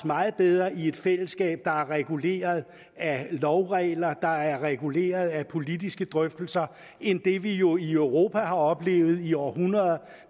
meget bedre i et fællesskab der er reguleret af lovregler der er reguleret af politiske drøftelser end i det vi jo i europa har oplevet i århundreder